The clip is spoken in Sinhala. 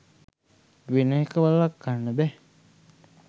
වෙන එක වළක්වන්න බෑ.